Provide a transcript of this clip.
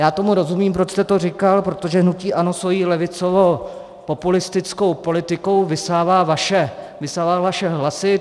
Já tomu rozumím, proč jste to říkal, protože hnutí ANO svou levicovo-populistickou politikou vysává vaše hlasy.